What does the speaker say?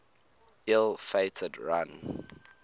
ill fated run